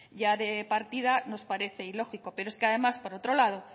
ya de partida nos parece ilógico pero es que además por otro lado